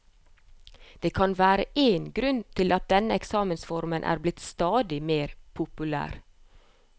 Det kan være én grunn til at denne eksamensformen er blitt stadig mer populær.